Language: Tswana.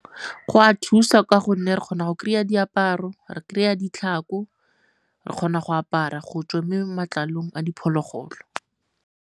Go a thusa ka gonne re kgona go kry-a diaparo, re kry-a ditlhako, re kgona go apara go tswa matlalong a diphologolo.